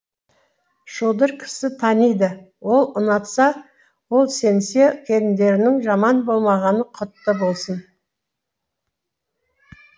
шодыр кісі таниды ол ұнатса ол сенсе келіндеріңнің жаман болмағаны құтты болсын